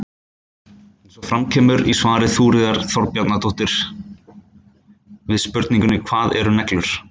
Eins og fram kemur í svari Þuríðar Þorbjarnardóttur við spurningunni Hvað eru neglur?